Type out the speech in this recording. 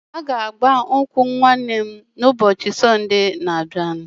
A ga-agba nkwụ nwanne m na ụbọchị Sonde n'abia